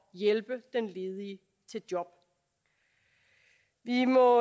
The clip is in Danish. hjælpe den ledige i job vi må